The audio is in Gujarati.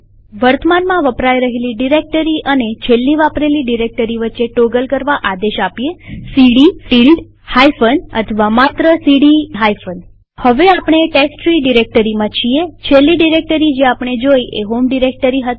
વર્તમાનમાં વપરાય રહેલી ડિરેક્ટરી અને છેલ્લી વાપરેલી ડિરેક્ટરી વચ્ચે ટોગલ કરવા આદેશ સીડી ટીલ્ડ હાઈફન અથવા માત્ર સીડી હાઈફન હવે આપણે ટેસ્ટટ્રી ડિરેક્ટરીમાં છીએછેલ્લી ડિરેક્ટરી જે આપણે જોઈ એ હોમ ડિરેક્ટરી હતી